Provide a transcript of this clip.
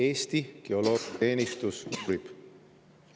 Eesti Geoloogiateenistus uurib.